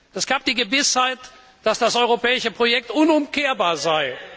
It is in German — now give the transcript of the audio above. Es gab die Gewissheit, dass das europäische Projekt unumkehrbar sei.